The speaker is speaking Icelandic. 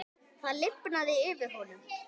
Það lifnaði yfir honum.